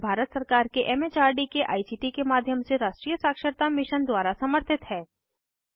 यह भारत सरकार के एम एच आर डी के आई सी टी के माध्यम से राष्ट्रीय साक्षरता मिशन द्वारा समर्थित है